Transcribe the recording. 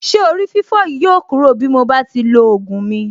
Ṣé orí-fífọ́ yìí yóò kúrò bí mo bá ti lo ògùn mi.